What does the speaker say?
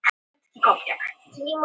Á Írlandi er til borg með sama nafni.